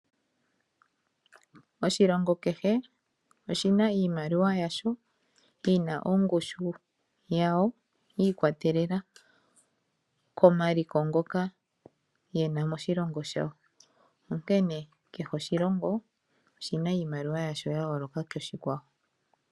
Oshilongo kehe oshina iimaliwa yasho, yina ongushu yawo yikwatelela komaliko ngoka yena moshilongo shawo ,onkene kehe oshilongo oshina iimaliwa yasho yayoloka koshikwawo.